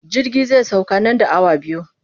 Jirgi zai sauka nan da awa biyu.